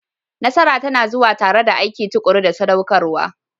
Nasara tana zuwa tare da aiki tuƙuru da saɗaukarwa.